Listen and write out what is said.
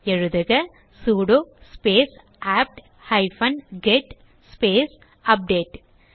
எழுதுக sudo space apt hyphen get space update